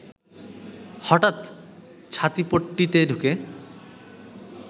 হঠাৎ ছাতিপট্টিতে ঢুকে